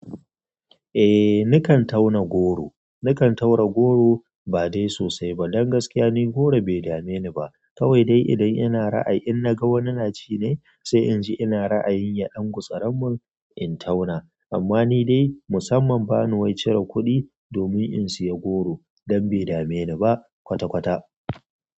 Eh ni kan tauna goro. Na kan tauna goro ba dai sosai ba. Don gaskiya ni goro bai dame ni ba. Kawai dai idan ina ra'ayi in naga wani na ci ne sai in ji ina ra'ayin ya ɗan gutsar mun in tauna. Amma ni dai musamman ba ni wai cire kuɗi domin in saya goro don bai dame ni ba kwata-kwata.